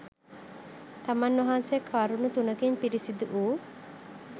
තමන් වහන්සේ කරුණු තුනකින් පිරිසිදු වූ